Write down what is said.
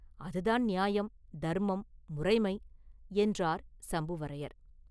அதுதான் நியாயம், தர்மம், முறைமை” என்றார் சம்புவரையர்.